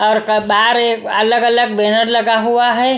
अलग अलग बैनर लगा हुआ है।